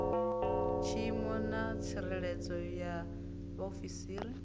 tshiimo na tsireledzo ya vhaofisiri